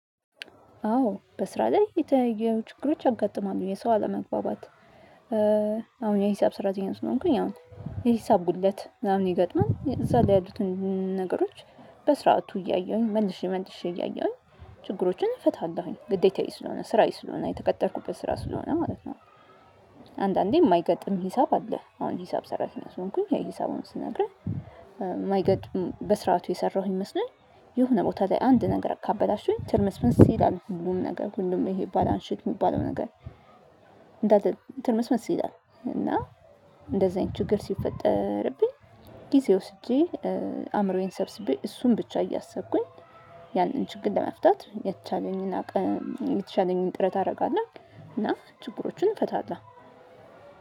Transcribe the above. አዎ በስራ ላይ የተለያዩ ችግሮች ያጋጥማለሁ። የሰው አለመግባባት አሁን የሂሳብ ሰራተኛ ስለሆንኩኝ ያው የሂሳብ ጉድለት ምናምን ይገጥማል። እዛ ላይ ያሉትን ነገሮች በስርዓቱ እያየሁኝ መልሼ መልሼ እያየሁኝ ችግሮችን እፈታለሁኝ። ግዴታዬ ስለሆነ ስራዬ ስለሆነ የተቀጠርኩበት ስራ ስለሆነ ማለት ነው። አንዳንዴ የማይገጥም ሂሳብ አለ። አሁን ሂሳብ ሰራተኛ ስለሆንኩኝ ያ ሂሳቡን ስነግርህ ማይገጥም በስርዓቱ የሰራሁኝ ይመስለኛል የሆነ ቦታ ላይ አንድ ነገር ካበላሸሁኝ ትርምስምስ ይላል ሁሉም ነገር ሁሉም ይሄ ባላንሺፕ የሚባለው ነገር እንዳለ ትርምስምስ ይላል እና እንደዚህ አይነት ችግር ሲፈጠርብኝ ጊዜ ወስጄ አእምሮዬን ሰብስቤ እሱን ብቻ እያሰብኩኝ ያንን ችግር ለመፍታት የተቻለኝን አቅም የተቻለኝን ጥረት አደርጋለሁ እና ችግሮቹን ፈታለው